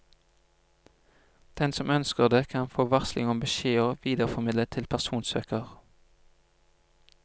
Den som ønsker det, kan få varsling om beskjeder videreformidlet til personsøker.